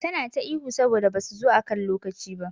Tana ta ihu saboda basu zo akan lokaci ba.